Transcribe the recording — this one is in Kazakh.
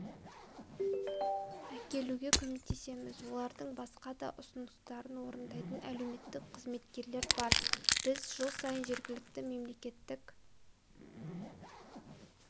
әкелуге көмектесеміз олардың басқа да ұсыныстарын орындайтын әлеуметтік қызметкерлер бар біз жыл сайын жергілікті мемлекеттік